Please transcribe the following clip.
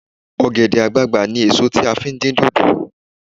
Ọ̀gẹ̀dẹ̀ àgbagbà ni èso tí a fi ń dín dòdò